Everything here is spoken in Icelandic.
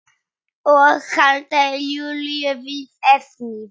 Og halda Júlíu við efnið.